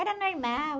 Era normal.